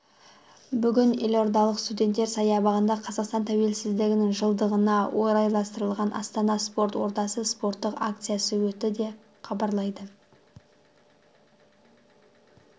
бүгін елордалық студенттер саябағында қазақстан тәуелсіздігінің жылдығына орайластырылған астана спорт ордасы спорттық акциясы өтті деп хабарлайды